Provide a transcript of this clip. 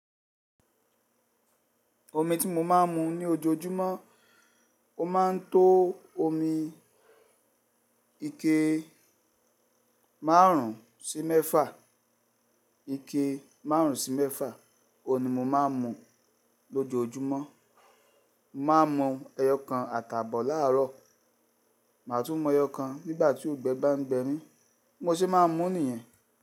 Omi tí mo máa ń mu ní ojoojúmọ́, ó máa ń tó omi ike márùn-ún sí mẹ́fà, ike márùn-ún sí mẹ́fà, òun ni mo máa ń mu lójoojúmọ́. Mo má a mu ẹyọ kan àtàbọ̀ láàárọ̀, màá tún mu ẹyọ kan nígbà tí ọ̀gbẹ́ bá ń ngbẹmi, bi mo sì máa mú èyíyan.